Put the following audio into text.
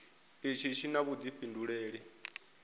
itshi tshi na vhuifhinduleli kha